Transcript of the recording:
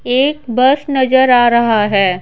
एक बस नजर आ रहा है।